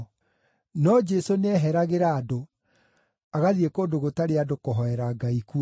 No Jesũ nĩeheragĩra andũ, agathiĩ kũndũ gũtarĩ andũ kũhoera Ngai kuo.